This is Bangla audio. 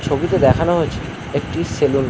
ছবিতে দেখানো হয়েছে একটি সেলুন ।